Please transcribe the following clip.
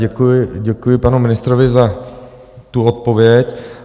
Děkuji panu ministrovi za tu odpověď.